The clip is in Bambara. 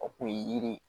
O kun ye yiri ye